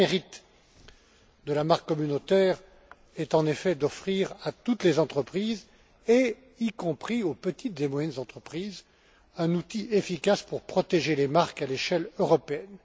Le grand mérite de la marque communautaire est en effet d'offrir à toutes les entreprises, y compris aux petites et moyennes entreprises, un outil efficace pour protéger les marques à l'échelle européenne.